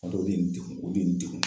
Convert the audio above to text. N ba dɔn o de ye n dekun o de ye n dekun.